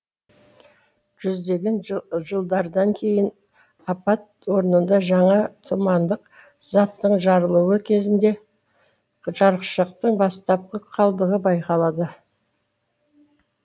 жүздеген жылдардан кейін апат орнында жаңа тұмандық заттың жарылуы кезінде жарықшақтың бастапқы қалдығы байқалады